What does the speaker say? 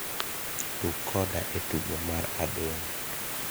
tug koda e tugo mar adong'